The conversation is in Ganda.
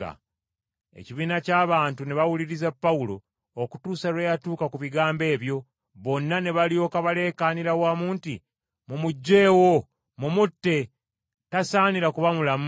Ekibiina ky’abantu ne bawuliriza Pawulo okutuusa lwe yatuuka ku bigambo ebyo, bonna ne balyoka baleekaanira wamu nti, “Mumuggyeewo! Mumutte! Tasaanira kuba mulamu!”